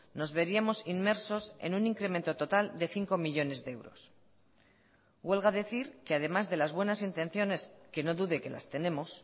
nos veríamos inmersos en un incremento total de cinco millónes de euros huelga decir que además de las buenas intenciones que no dude que las tenemos